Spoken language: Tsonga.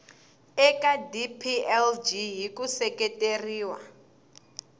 eka dplg hi ku seketeriwa